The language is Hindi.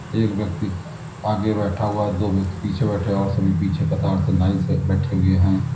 एक व्यक्ति आगे बैठा हुआ है दो व्यक्ति पीछे बैठे हुए हैं और सभी पीछे कतार से लाइन से बैठे हुए हैं।